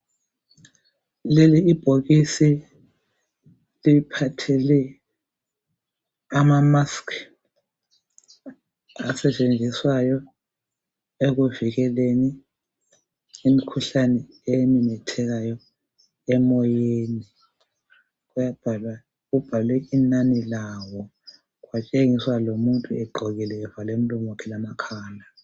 Leli ibhokisi liphathele amamaskhi asetshenziswayo ekuvikeleni imikhuhlane ememethekayo emoyeni. Kubhalwe inani lawo, kwatshengiswa lomuntu egqokile, evale umlomo wakhe lamakhala.